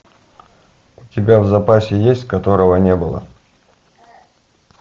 у тебя в запасе есть которого не было